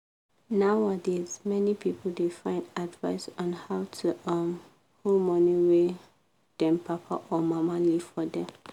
nowadays many people da find advice on how to um hold money wey them papa or mama leave forr dem